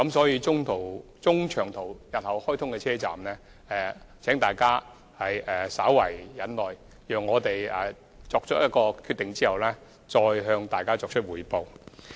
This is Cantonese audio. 因此，關於日後開通的中長途直達站，請大家稍為忍耐，讓我們得出決定後再向大家作出匯報。